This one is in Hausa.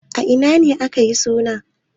A ina ne aka yi suna?